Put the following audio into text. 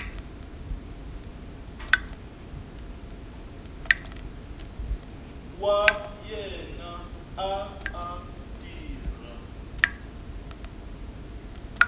wa yena a a tirha